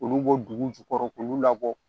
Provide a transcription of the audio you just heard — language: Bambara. Olu bɔ dugu jukɔrɔ k'olu labɔ